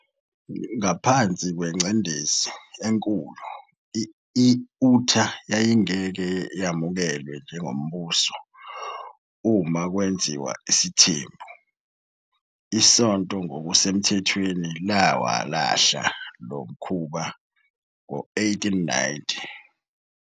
Ngaphansi kwengcindezi enkulu - i- Utah yayingeke yamukelwe njengombuso uma kwenziwa isithembu - isonto ngokusemthethweni lawalahla lo mkhuba ngo-1890.